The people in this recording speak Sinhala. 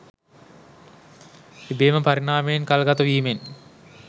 ඉබේම පරිණාමයෙන් කල්ගතවීමෙන්